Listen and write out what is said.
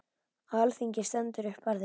Á alþingi stendur upp Barði